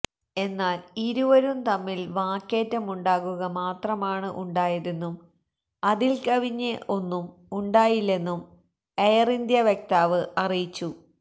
എന്നാല് ഇരുവരും തമ്മില് വാക്കേറ്റമുണ്ടാകുക മാത്രമാണ് ഉണ്ടായതെന്നും അതില് കവിഞ്ഞ് ഒന്നും ഉണ്ടായില്ലന്നും എയര്ഇന്ത്യ വക്താവ് അറിയിച്ചു